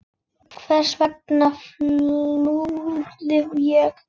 Hvers vegna flúði ég?